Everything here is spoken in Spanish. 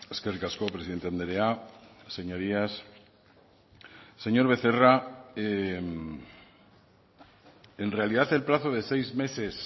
eskerrik asko presidente andrea señorías señor becerra en realidad el plazo de seis meses